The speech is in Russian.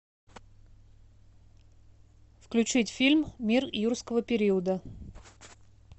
включить фильм мир юрского периода